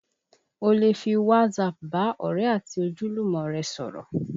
O lè fi WhatsApp bá ọ̀rẹ́ àti ojúlùmọ̀ rẹ sọ̀rọ̀